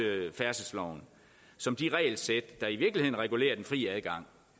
færdselsloven som de regelsæt der i virkeligheden regulerer den fri adgang